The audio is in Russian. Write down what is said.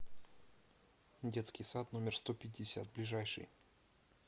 детский сад номер сто пятьдесят ближайший